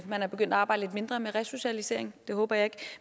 er begyndt at arbejde lidt mindre med resocialisering det håber jeg ikke